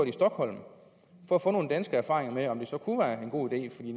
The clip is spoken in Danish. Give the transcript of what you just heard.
i stockholm for at få nogle danske erfaringer med om det så kunne være en god idé